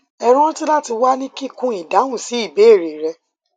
hẹ ranti lati wa ni kikun idahun si ibeere rẹ